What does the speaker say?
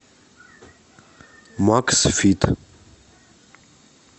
максфит